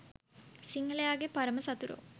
සිංහලයගේ පරම සතුරෝ.